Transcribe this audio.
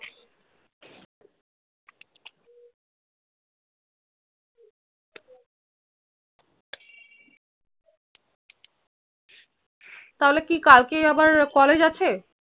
তাহলে কি কাল কে আবার college আছে